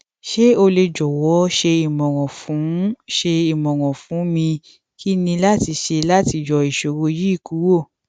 ṣe o le jọwọ ṣe imọran fun ṣe imọran fun mi kini lati ṣe lati yọ iṣoro yii kuro